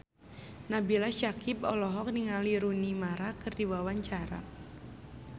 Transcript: Nabila Syakieb olohok ningali Rooney Mara keur diwawancara